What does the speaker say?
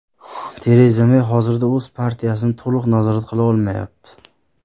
Tereza Mey hozirda o‘z partiyasini to‘liq nazorat qila olmayapti.